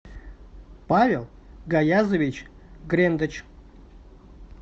павел гаязович грендач